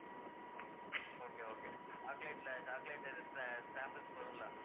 okay, okay chocolate ல chocolate போதும் இல்ல